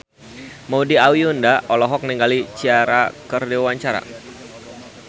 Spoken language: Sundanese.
Maudy Ayunda olohok ningali Ciara keur diwawancara